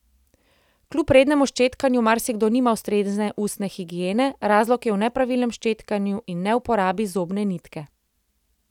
Kljub rednemu ščetkanju marsikdo nima ustrezne ustne higiene, razlog je v nepravilnem ščetkanju in neuporabi zobne nitke.